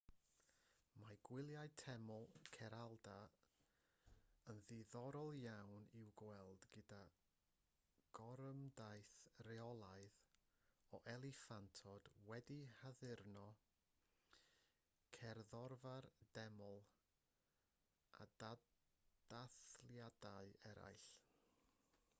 mae gwyliau teml kerala yn ddiddorol iawn i'w gweld gyda gorymdaith reolaidd o eliffantod wedi'u haddurno cerddorfa'r deml a dathliadau eraill